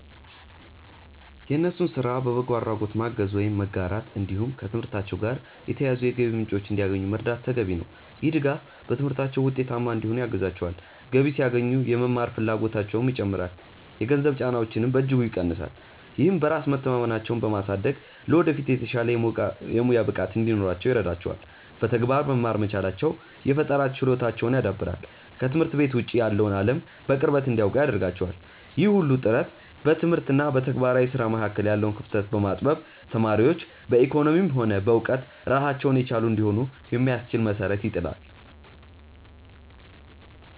የእነሱን ስራ በበጎ አድራጎት ማገዝ ወይም መጋራት፣ እንዲሁም ከትምህርታቸው ጋር የተያያዙ የገቢ ምንጮችን እንዲያገኙ መርዳት ተገቢ ነው። ይህ ድጋፍ በትምህርታቸው ውጤታማ እንዲሆኑ ያግዛቸዋል፤ ገቢ ሲያገኙ የመማር ፍላጎታቸውም ይጨምራል፣ የገንዘብ ጫናቸውንም በእጅጉ ይቀንሳል። ይህም በራስ መተማመናቸውን በማሳደግ ለወደፊት የተሻለ የሙያ ብቃት እንዲኖራቸው ይረዳቸዋል። በተግባር መማር መቻላቸው የፈጠራ ችሎታቸውን ያዳብራል፤ ከትምህርት ቤት ውጭ ያለውን አለም በቅርበት እንዲያውቁ ያደርጋቸዋል። ይህ ሁሉ ጥረት በትምህርት እና በተግባራዊ ስራ መካከል ያለውን ክፍተት በማጥበብ ተማሪዎች በኢኮኖሚም ሆነ በእውቀት ራሳቸውን የቻሉ እንዲሆኑ የሚያስችል መሰረት ይጥላል።